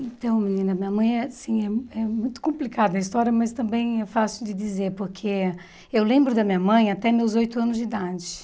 Então, menina, minha mãe, assim, é é muito complicada a história, mas também é fácil de dizer, porque eu lembro da minha mãe até meus oito anos de idade.